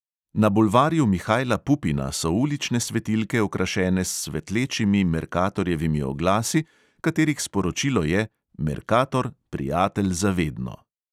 Na bulvarju mihaila pupina so ulične svetilke okrašene s svetlečimi merkatorjevimi oglasi, katerih sporočilo je: merkator, prijatelj za vedno.